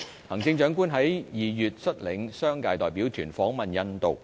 行政長官在2月率領商界代表團訪問印度。